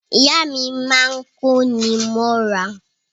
Ìyá mi máa ń kóni mọ́ra